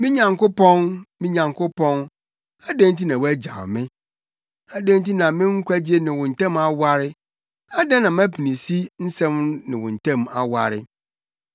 Me Nyankopɔn, me Nyankopɔn, adɛn nti na woagyaw me? Adɛn nti na me nkwagye ne wo ntam aware, adɛn na mʼapinisi nsɛm ne wo ntam aware?